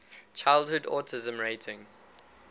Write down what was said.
childhood autism rating